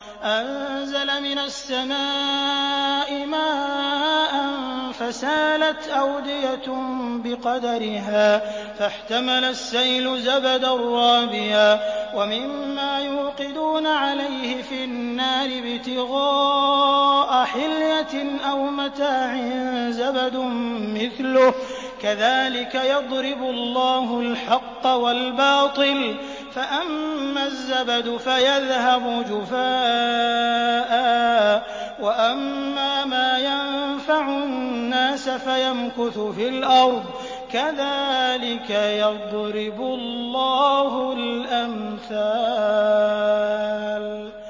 أَنزَلَ مِنَ السَّمَاءِ مَاءً فَسَالَتْ أَوْدِيَةٌ بِقَدَرِهَا فَاحْتَمَلَ السَّيْلُ زَبَدًا رَّابِيًا ۚ وَمِمَّا يُوقِدُونَ عَلَيْهِ فِي النَّارِ ابْتِغَاءَ حِلْيَةٍ أَوْ مَتَاعٍ زَبَدٌ مِّثْلُهُ ۚ كَذَٰلِكَ يَضْرِبُ اللَّهُ الْحَقَّ وَالْبَاطِلَ ۚ فَأَمَّا الزَّبَدُ فَيَذْهَبُ جُفَاءً ۖ وَأَمَّا مَا يَنفَعُ النَّاسَ فَيَمْكُثُ فِي الْأَرْضِ ۚ كَذَٰلِكَ يَضْرِبُ اللَّهُ الْأَمْثَالَ